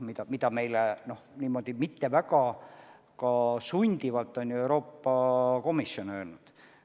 Seda on meile niimoodi mitte väga sundivalt ka Euroopa Komisjon öelnud.